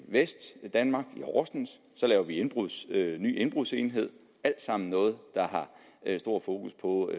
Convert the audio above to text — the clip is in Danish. vestdanmark i horsens så laver vi en ny indbrudsenhed alt sammen noget der har stor fokus på